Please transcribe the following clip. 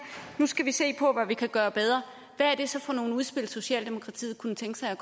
at vi skal se på vi kan gøre bedre hvad er det så for nogen udspil socialdemokratiet kunne tænke sig